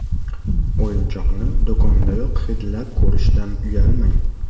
O‘yinchoqni do‘kondayoq hidlab ko‘rishdan uyalmang.